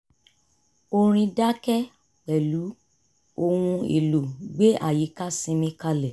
orin dákẹ́ pẹ̀lú ohun èlò gbé àyíká ṣinmi kalẹ̀